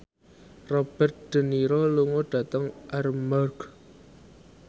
Robert de Niro lunga dhateng Armargh